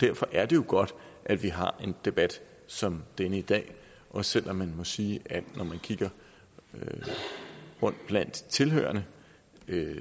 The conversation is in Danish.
derfor er det jo godt at vi har en debat som denne i dag også selv om man må sige at når man kigger rundt blandt tilhørerne